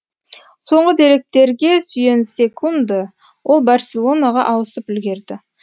соңғы деректерге сүйенсек ол барселонаға ауысып үлгерді